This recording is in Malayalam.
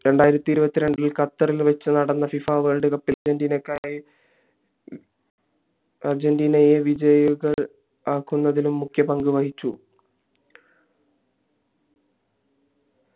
രണ്ടായിരത്തി ഇരുവത്തിരണ്ടിൽ ഖത്തർ ഇൽ വെച്ചു നടന്ന ഫിഫ വേൾഡ് കപ്പി അർജന്റീനയെ വിജയികൾ ആകുന്നതിൽ മുഖ്യ പങ്കു വഹിച്ചു